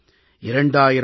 2000 கி